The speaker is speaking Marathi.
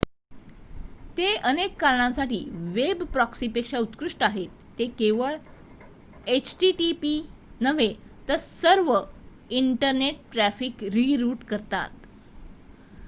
ते अनेक कारणांसाठी वेब प्रॉक्सीपेक्षा उत्कृष्ट आहेत ते केवळ http नव्हे तर सर्व इंटरनेट ट्रॅफिक रि-रूट करतात